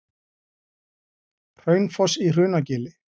Hraunfoss í Hrunagili.